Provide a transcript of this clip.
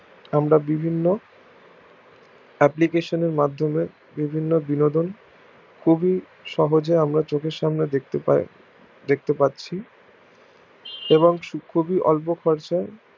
আমরা বিভিন্ন application এরমধ্যে বিভিন্ন বিনোদন খুবই সহজে আমরা চোখের সামনে দেখতে পারি এবং সে খুবই অল্প খরচই